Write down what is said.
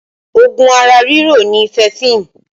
Oògùn ara riro ni fẹẹfin